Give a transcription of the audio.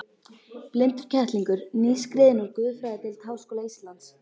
Blindur kettlingur, nýskriðinn úr guðfræðideild Háskóla Íslands.